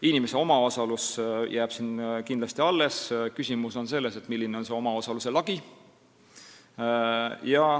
Inimese omaosalus jääb siin kindlasti alles, küsimus on selles, milline on selle omaosaluse lagi.